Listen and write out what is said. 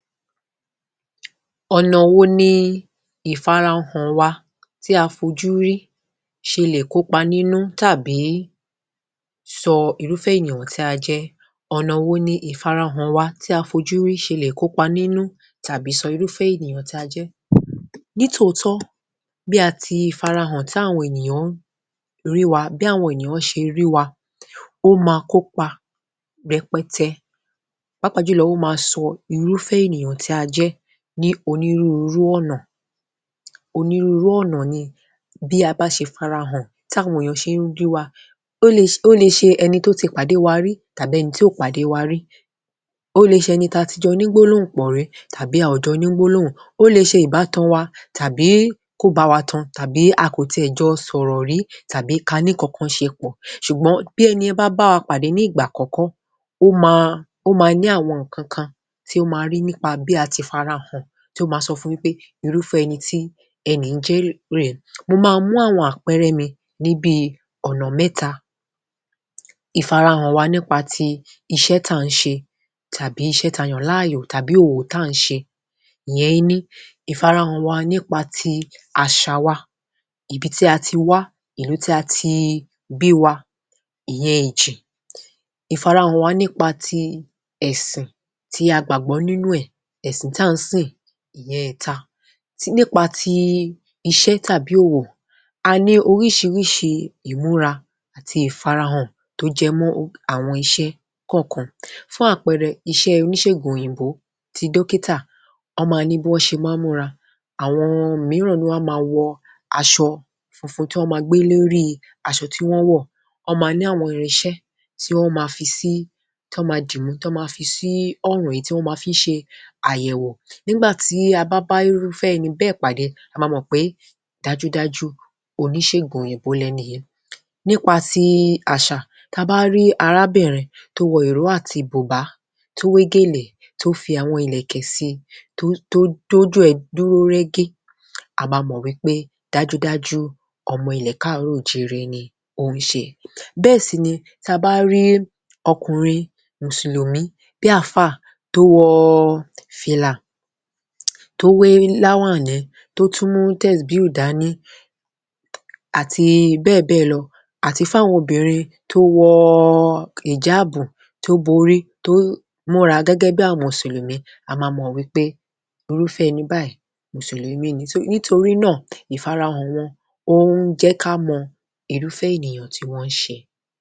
Ọ̀nà wo ni ìfarahàn wa tí a fojú rí ṣe lè kóka nínú, tàbí sọ irúfẹ́ ènìyàn tí ajẹ́? Ọ̀nà wo ni ìfarahàn wa tí a fojú rí ṣe lè kópa nínú, tàbí sọ irúfẹ́ ènìyàn tí a jẹ́? Nítòótọ́, bí a ti farahàn, táwọn ènìyàn ń rí wa, bí àwọn ènìyàn ṣe rí wa ó máa kópa rẹpẹtẹ, pàápàá jùlọ, ó máa ṣọ irúfẹ́ ènìyàn tí a jẹ́ ní onírúurú ọ̀nà. Onírúurú ọ̀nà ni bí a bá ṣe fi ara hàn, táwọn ènìyàn ṣe ń rí wa, ó le ṣe ẹni tó ti pàdé wa rí tàbí ẹni tí ò pàdé wa rí. Ó le ṣe ẹni táa ti jọ ní gbólóhùn pọ̀ rí tàbí a ò jọ ní gbólóhùn. Ó le ṣe ìbátan wa tàbí kò bá wa tan tàbí a kò tiẹ̀ jọ sọ̀rọ̀ rí tàbí káa ní nǹkan kan ṣe pọ̀. Ṣùgbọ́n bí ẹni yẹn bá bá wa pàdé ní ìgbà àkọ́kọ́, ó máa, ó máa ní àwọn nǹkan kan tí ó máa rí nípa bí a ti fi ara hàn, tí ó máa sọ fún un wí pé irúfẹ́ ẹni tí ẹni yìí jẹ́ rèé. Mo máa mú àwọn àpẹẹrẹ mi ní bíi ọ̀nà mẹ́ta. Ìfarahàn wa nípa ti iṣẹ́ táà ń ṣe tàbí iṣẹ́ táa yàn láàyò, tàbí òwò táà ń ṣe. Ìyẹn, ení. ìfarahàn wa nípa ti àṣà wa, ibi tí a ti wá, ìlú tí a ti bí wa, ìyẹn, èjì. Ìfarahàn wa nípa ti ẹ̀sìn tí a gbàgbọ́ nínú ẹ̀, ẹ̀sìn táà ń sìn, ìyẹn, ẹ̀ta. Nípa ti iṣẹ́ tàbí òwò. A ní oríṣiríṣi ìmúra àti ìfarahàn tó jẹ mọ́ àwọn iṣẹ́ kọ̀ọ̀kan. Fún àpẹẹrẹ, iṣẹ́ oníṣẹ̀gùn òyìnbó ti dókítà, wọ́n máa ní bí wọ́n ṣe máa ń múra. Àwọn mìíràn nínú wọn máa wọ aṣọ funfun ti wọ́n máa gbé lórí aṣọ tí wọ́n wọ̀. Àwọn mìíràn nínú wọn máa ní àwọn irinṣẹ́ tí wọ́n máa fi sí, tí wọ́n máa dìmú, tí wọ́n máa fi sí ọrùn, èyí tí wọ́n máa fi sí ọrùn, èyí tí wọ́n máa fi ń ṣe àyẹ̀wò. Nígbà tí a bá bá irúfẹ́ ẹni bẹ́ẹ̀ pàdé, a máa mọ̀ pé dájúdájú, oníṣègùn òyìnbó lẹni yìí. Nipa ti àṣà, táa bá rí arábìnrin tó wọ ìró àti bùbá, tó wé gèlè, tó fi àwọn ìlẹ̀kẹ̀ síi, tó, tó, tójú ẹ̀ dúró régé, a máa mọ̀ wí pé dájúdájú ọmọ ilẹ̀ káàárọ̀ o jíire ni ó ń ṣe. Bẹ́ẹ̀ sì ni táa bá rí ọkùnrin mùsùlùmí bí àfáà tó wọ fìlà, tó wé láwàní, tó tún mú tẹ̀sbíù dání àti bẹ́ẹ̀bẹ́ẹ̀ lọ, àti fún àwọn obìnrin tó wọ ìjáàbù, tó borí, tó múra gẹ́gẹ́ bí àwọn mùsùlùmí, a máa mọ̀ wí pé irúfẹ́ ẹni báyìí, mùsùlùmí ni. So, nítorí náà, ìfarahàn wọn ó ń jẹ́ ká mọ irúfẹ́ ènìyàn tí wọ́n ń ṣe.